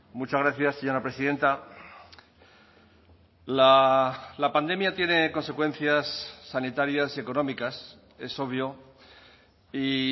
muchas gracias señora presidenta la pandemia tiene consecuencias sanitarias económicas es obvio y